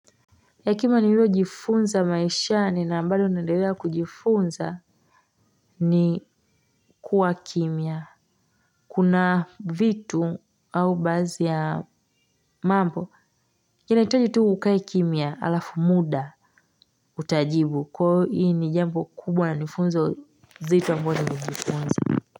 Ya kima ni lilo jifunza maishani na ambayo nadelea kujifunza ni kuwa kimya kuna vitu au bazi ya mambo kina hitaji tu ukae kimia alafu muda utajibu kwa hii ni jambo kubwa na nifunza zito ambayo nilijifunza.